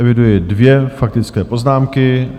Eviduji dvě faktické poznámky.